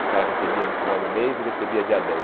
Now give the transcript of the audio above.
O cara recebia no final do mês e recebia dia dez.